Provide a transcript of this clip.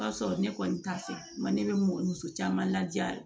O y'a sɔrɔ ne kɔni t'a fɛ ne bɛ mɔgɔ caman laja